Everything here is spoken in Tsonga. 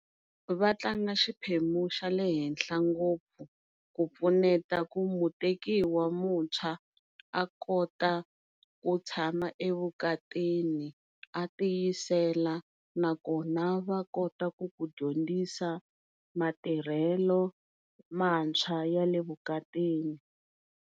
Va tlanga xiphemu xa le henhla ngopfu ku pfuneta ku mutekiwa mutshwa a kota ku tshama evukatini a tiyisela nakona va kota ku ku dyondzisa matirhelo mantshwa ya le evukatini.